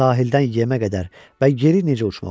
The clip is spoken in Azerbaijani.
Sahildən yemə qədər və geri necə uçmaq olar?